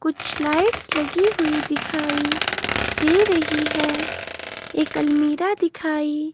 कुछ लाइट्स लगी हुई दिखाई दे रही है एक अलमीरा दिखाई--